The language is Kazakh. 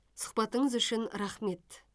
сұхбатыңыз үшін рахмет